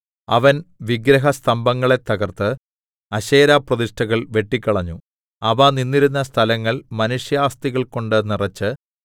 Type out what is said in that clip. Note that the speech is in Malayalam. അവൻ വിഗ്രഹസ്തംഭങ്ങളെ തകർത്ത് അശേരാപ്രതിഷ്ഠകൾ വെട്ടിക്കളഞ്ഞു അവ നിന്നിരുന്ന സ്ഥലങ്ങൾ മനുഷ്യാസ്ഥികൾകൊണ്ട് നിറച്ച്